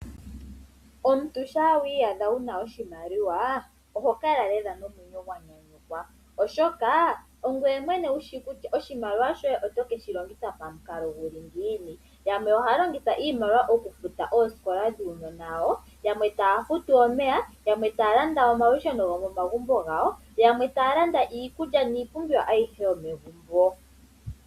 Omuntu ngele wiiyadha wuna oshimaliwa oho kala lela nomwenyo gwanyanyukwa, oshoka ongoye mwene wushi kutya oshimaliwa shoye oto keshi longitha pamukalo guli ngiini . Yamwe ohaya longitha iimaliwa okufuta oosikola dhuunona wawo . Yamwe taya futu omeya. Yamwe taya landa omalusheno gomomagumbi gawo , yamwe taya landa iikulya niipumbiwa yilwe yomomagumbo gawo.